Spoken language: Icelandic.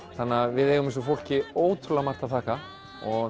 við eigum þessu fólki ótrúlega margt að þakka